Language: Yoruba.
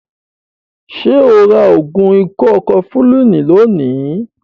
Ṣo ra ògùn ikọ́ kọfulínì lónìí?